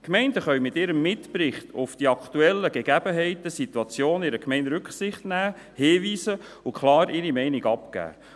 Die Gemeinden können in ihrem Mitbericht auf die aktuellen Gegebenheiten und Situationen in ihrer Gemeinde Rücksicht nehmen, darauf hinweisen und ihre Meinung abgeben.